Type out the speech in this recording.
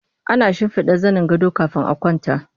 Ana shimfiɗa zanin gado kafin a kwanta